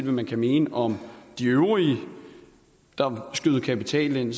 man kan mene om de øvrige der skød kapital ind